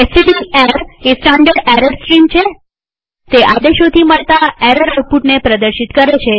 એસટીડીએર એ standard error stream છેતે આદેશોથી મળતા એરર આઉટપુટને પ્રદર્શિત કરે છે